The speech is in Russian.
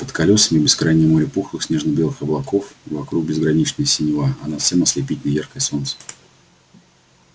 под колёсами бескрайнее море пухлых снежно-белых облаков вокруг безграничная синева а над всем ослепительно яркое солнце